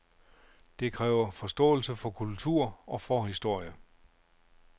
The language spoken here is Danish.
Det kræver forståelse for kultur og forhistorie.